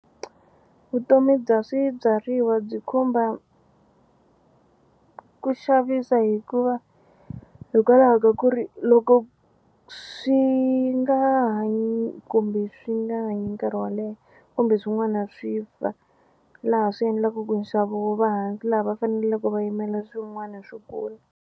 Vutomi bya swibyariwa byi khumba ku xavisa hikuva hikwalaho ka ku ri loko swi nga hanyi kumbe swi nga hanyi nkarhi wo leha kumbe swin'wana swi fa laha swi endlaku ku nxavo wu va hansi laha va faneleke va yimela swin'wana swi kula.